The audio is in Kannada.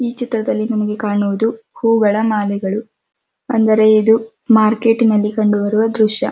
ಈ ಚಿತ್ರಕ್ದಲ್ಲಿ ನಮಗೆ ಕಾಣೋದು ಹೂಗಳ ಹಾದಿಗಳು ಅಂದರೆ ಇದು ಮಾರ್ಕೆಟ್ ಅಲ್ಲಿ ಕಂಡುಬರುವ ದೃಶ್ಯ.